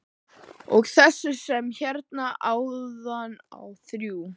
Og þessi sem hérna áðan á þrjú.